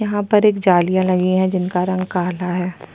यहाँ पर एक जालिया लगी है जिनका रंग काला है।